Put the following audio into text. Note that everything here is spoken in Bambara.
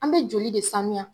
An be joli de sanuya.